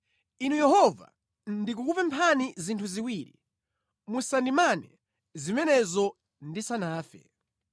“Inu Yehova, ndikukupemphani zinthu ziwiri musandimane zimenezo ndisanafe: